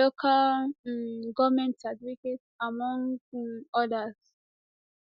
local um goment certificate among um odas